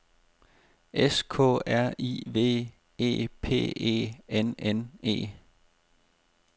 S K R I V E P E N N E